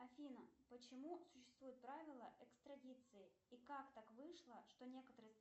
афина почему существует правило экстрадиции и как так вышло что некоторые